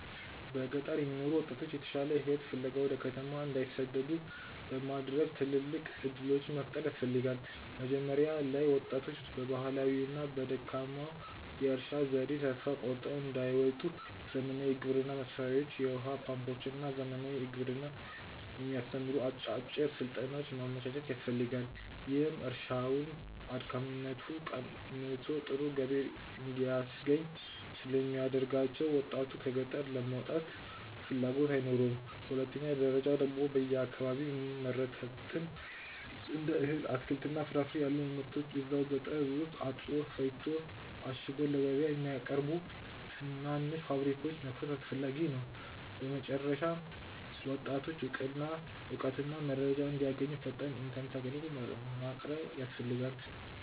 በገጠር የሚኖሩ ወጣቶች የተሻለ ሕይወት ፍለጋ ወደ ከተማ እንዳይሰደዱ ለማድረግ ትልልቅ ዕድሎች መፍጠር ያስፈልጋ። መጀመሪያ ላይ ወጣቶች በባህላዊውና በደካማው የእርሻ ዘዴ ተስፋ ቆርጠው እንዳይወጡ ዘመናዊ የግብርና መሣሪያዎችን፣ የውኃ ፓምፖችንና ዘመናዊ ግብርናን የሚያስተምሩ አጫጭር ሥልጠናዎችን ማመቻቸት ያስፈልጋል፤ ይህም እርሻውን አድካሚነቱ ቀንሶ ጥሩ ገቢ እንዲያስገኝ ስለሚያደርጋቸው ወጣቱ ከገጠር ለመውጣት ፍላጎት አይኖረውም። በሁለተኛ ደረጃ ደግሞ በየአካባቢው የሚመረቱትን እንደ እህል፣ አትክልትና ፍራፍሬ ያሉ ምርቶችን እዛው ገጠር ውስጥ አጥቦ፣ ፈጭቶና አሽጎ ለገበያ የሚያቀርቡ ትናንሽ ፋብሪካዎችን መክፈት አስፈላጊ ነው። በመጨረሻም ወጣቶች እውቀትና መረጃ እንዲያገኙ ፈጣን ኢተርኔት አግልግሎት ማቅረብ ያስፈልጋል